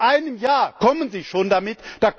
Nach einem Jahr kommen Sie schon damit.